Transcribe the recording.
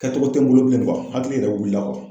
Kɛcogo tɛ n bolo bilen hakili yɛrɛ wulila